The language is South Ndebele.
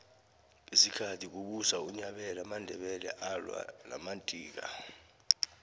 ngesikhathi kubusa unyabela amandebele alwa namadika